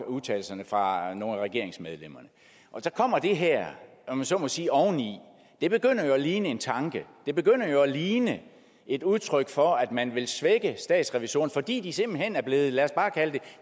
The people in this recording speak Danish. udtalt fra nogle af regeringsmedlemmerne så kommer det her om jeg så må sige oveni det begynder jo at ligne en tanke det begynder jo at ligne et udtryk for at man vil svække statsrevisorerne fordi de simpelt hen er blevet lad os bare kalde